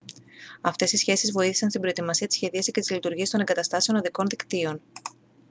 αυτές οι σχέσεις βοήθησαν στην προετοιμασία τη σχεδίαση και τις λειτουργίες των εγκαταστάσεων οδικών δικτύων